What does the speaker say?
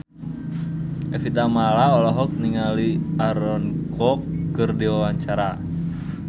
Evie Tamala olohok ningali Aaron Kwok keur diwawancara